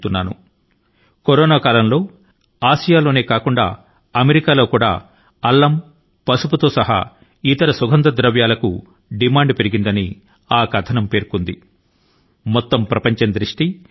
ప్రస్తుత కరోనా కాలం లో అల్లం పసుపు సహా ఇతర సుగంధ ద్రవ్యాల కు ఆసియాలోనే కాక అమెరికాలోనూ డిమాండ్ పెరిగిందని ఆ కథనం లో వ్రాశారు